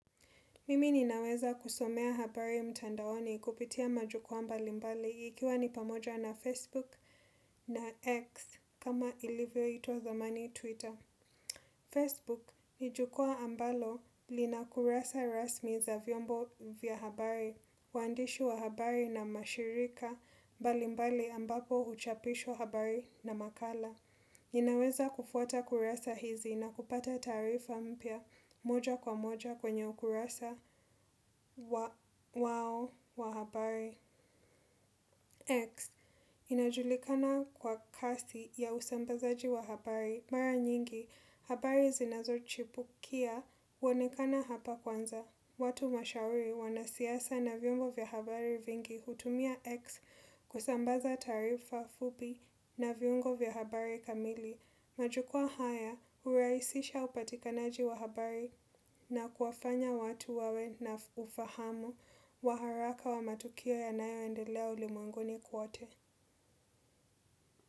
Mimi ninaweza kusomea habari mtandaoni kupitia majukwa mbali mbali ikiwa ni pamoja na Facebook na X kama ilivyoitwa zamani Twitter. Facebook nijukwa ambalo linakurasa rasmi za vyombo vya habari, waandishi wa habari na mashirika mbali mbali ambapo huchapishwa habari na makala. Ninaweza kufuata kurasa hizi na kupata taarifa mpya moja kwa moja kwenye ukurasa wao wa habari. X. Inajulikana kwa kasi ya usambazaji wa habari mara nyingi habari zinazochipukia huonekana hapa kwanza. Watu mashauri wanasiasa na vyombo vya habari vingi hutumia X kusambaza taarifa fupi na viungo vya habari kamili. Majukwa haya hurahisisha upatikanaji wa habari na kuwafanya watu wawe na ufahamu wa haraka wa matukio yanayo endelea ulimwenguni kwote.